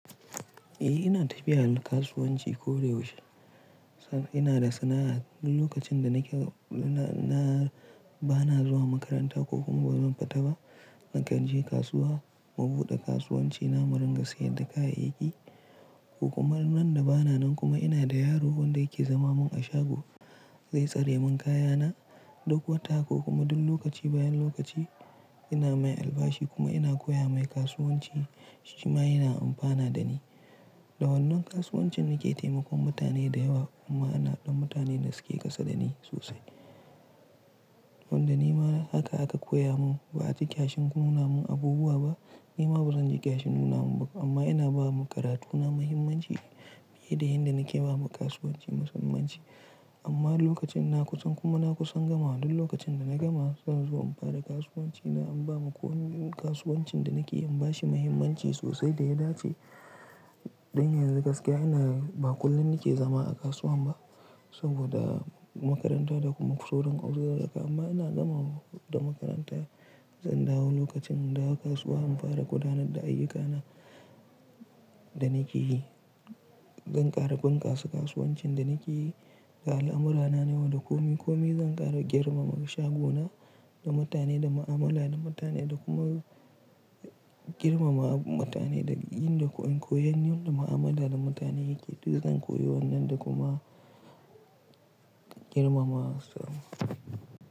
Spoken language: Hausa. Eh ina tafiya kasuwanci ko da yaushe. Ina da sana'a. Duk lokacin da nake, na bana zuwa makaranta ko kuma bazan fita ba, nakan je kasuwa na buɗe kasuwanci na rinka siyar da kayayyaki. Kokuma randa bana nan kuma ina da yaro wanda yake zama mun a shago zai tsare mun kayana ɗuk wata ko kuma duk lokaci bayan lokaci ina mai albashi kuma ina koya mai kasuwanci shima yana amfana da ni. Da wannan kasuwancin nake taimakon mutane da yawa amma ana ɗan mutane da suke kasa da ni sosai. Wanda nima haka aka koya mun ba'a ji ƙyashin nuna mun abubuwa ba. Nima bazan ji ƙyashin nuna mun ba kuma amma ina ba wa makarantuna muhimmanci fiye da inda nake ba wa kasuwanci muhimmanci. Amma lokacin na kusan kuma na kusan gama duk lokacin da na gama zan zo in fara kasuwanci na in ba ma ko wani kasuwancin da nake yin bashi muhimmanci sosai da ya dace. Don yanzu gaskiya ina ba kullum nake zama a kasuwan ba saboda makaranta da kuma sauran arziki amma ina zama da makaranta. Zan dawo lokacin da aka kasuwa in fara gudanar da ayyukana da nake yi. Zan ƙara bunƙasa kasuwancin da nake yi. Ga al'amurra na nawa da komi komi zan ƙara girmama shagona da mutane da mu'amala da mutane da kuma girmama mutane da yin da koyan yin da mu'amala da mutane yake. Duk zan koyi wannan da kuma girmama su.